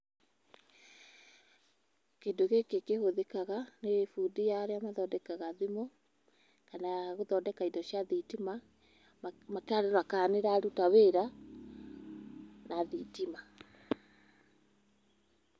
Kĩndũ gĩkĩ kĩhũthĩkaga nĩ fundi arĩa mathodekaga thimũ kana gũthodeka indo cia thitima, makarora kana nĩ ĩraruta wĩra na thitima.